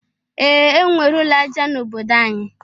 Ee! E nwere ụlọ aja n'obodo anyị.